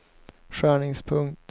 skärningspunkt